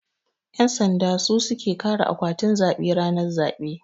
Yan sanda su suke kare akwatin zabe ranar zabe.